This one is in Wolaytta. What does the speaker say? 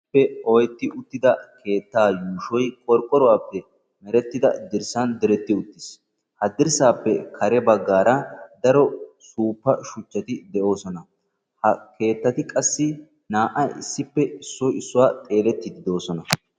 Issippe oyqqi uttida keettaa yuushoy qorqqoruwappe merettida dirssan diretti utiis, ha dirssaappe kare baggaara daro suuppa shuchchati de'oososna, Ha keettatti qassi naa''ay issoy issippe xeeletiidi de'oososna.